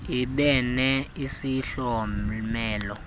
ibe ne isihlomelo